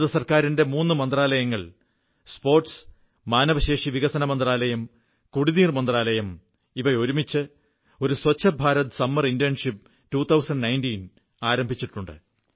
ഭാരതസർക്കാരിന്റെ മൂന്നു മന്ത്രാലയങ്ങൾ സ്പോർട്സ് മാനവവിഭവശേഷി വികസനമന്ത്രാലയം കുടിവെള്ള മന്ത്രാലയം എന്നിവ ഒരുമിച്ച് ഒരു സ്വച്ഛ്ഭാരത് സമ്മർ ഇന്റേൺഷിപ് 2018 ആരംഭിച്ചിട്ടുണ്ട്